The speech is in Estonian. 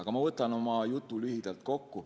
Aga ma võtan oma jutu lühidalt kokku.